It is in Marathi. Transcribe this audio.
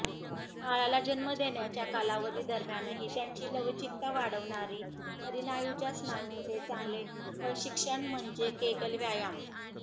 बाळाला जन्म देण्याच्या कालावधी दरम्यानही त्यांची लवचिकता वाढवणारी परिनायुच्या स्नायूंचे चांगले प्रशिक्षण म्हणजे केगल व्यायाम